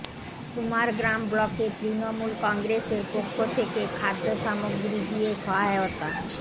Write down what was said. কুমারগ্রাম ব্লকের তৃণমূল কংগ্রেসের পক্ষ থেকে খাদ্য সামগ্রী দিয়ে সহায়তা